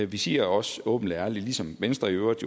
vi siger også åbent og ærligt ligesom venstre i øvrigt